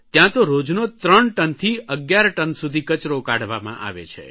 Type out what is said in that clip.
ત્યાં તો રોજનો ત્રણથી 11 ટન સુધી કચરો કાઢવામાં આવે છે